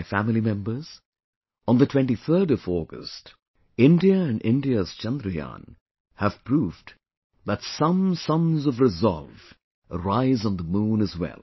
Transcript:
My family members, on the 23rd of August, India and India's Chandrayaan have proved that some suns of resolve rise on the moon as well